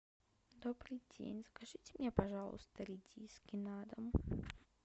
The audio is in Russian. добрый день закажите мне пожалуйста редиски на дом